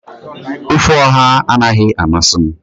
ofe oha anaghị amasị m